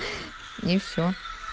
и все